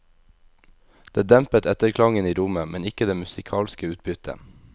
Det dempet etterklangen i rommet, men ikke det musikalske utbyttet.